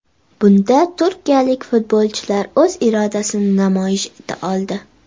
Bunda turkiyalik futbolchilar o‘z irodasini namoyish eta oldi.